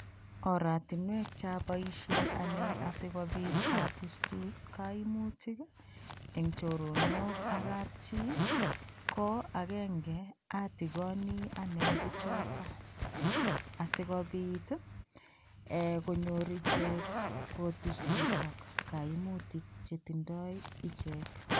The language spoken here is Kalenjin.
Oratinwek choboisien anne asigopit atustus kaimutik eng choronok ak kapchi, ko agenge atigoni anne biichoto asigopit ee konyor ichek kotustusok kaimutik che tindoi ichek.